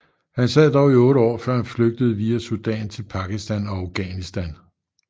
Han sad dog i 8 år før han flygtede via Sudan til Pakistan og Afghanistan